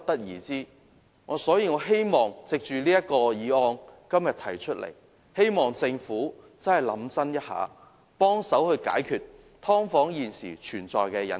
因此，我希望今天這項議案能促使政府認真思考一下，幫忙解決"劏房"現時存在的隱憂。